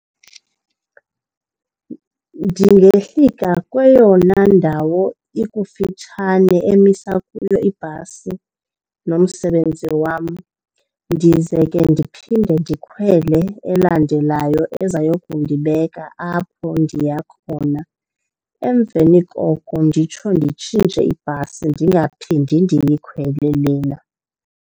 Ndingehlika kweyona ndawo ikufitshane emisa kuyo ibhasi nomsebenzi wam. Ndize ke phinde ndikhwele elandelayo ezayokundibeka apho ndiya khona. Emveni koko nditsho nditshintshe ibhasi ndingaphinde ndiyikhwele lena.